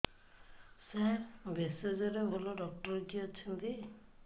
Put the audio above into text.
ସାର ଭେଷଜର ଭଲ ଡକ୍ଟର କିଏ ଅଛନ୍ତି